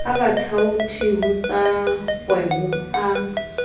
a bathaoti ho tsakgwebo a